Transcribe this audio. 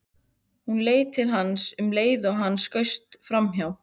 Hún leit til hans um leið og hann skaust framhjá.